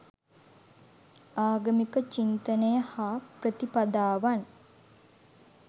ආගමික චින්තනය හා ප්‍රතිපදාවන්